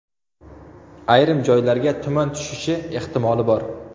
Ayrim joylarga tuman tushishi ehtimoli bor.